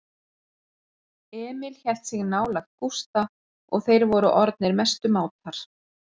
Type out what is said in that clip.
Emil hélt sig nálægt Gústa og þeir voru orðnir mestu mátar.